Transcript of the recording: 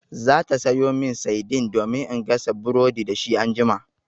Za ta sayo min saidin domin in gasa burodi dashi anjima.